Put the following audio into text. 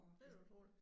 Det var da utroligt